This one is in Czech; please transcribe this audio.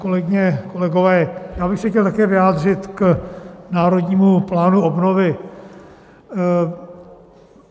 Kolegyně, kolegové, já bych se chtěl také vyjádřit k Národnímu plánu obnovy.